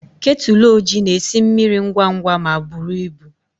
Kettle ojii na-esi mmiri ngwa ngwa ma buru ibu.